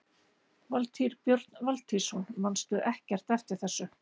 Valtýr Björn Valtýsson: Manstu ekkert eftir þessu?